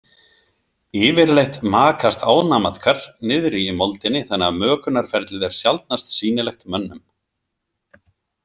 Yfirleitt makast ánamaðkar niðri í moldinni þannig að mökunarferlið er sjaldnast sýnilegt mönnum.